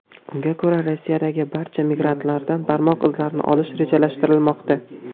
Unga ko‘ra, Rossiyadagi barcha migrantlardan barmoq izlarini olish rejalashtirilmoqda.